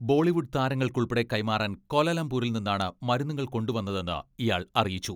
ബോളിവുഡ് താരങ്ങൾക്കുൾപ്പെടെ കൈമാറാൻ ക്വാലാലംപൂരിൽ നിന്നാണ് മരുന്നുകൾ കൊണ്ടു വന്നതെന്ന് ഇയാൾ അറിയിച്ചു.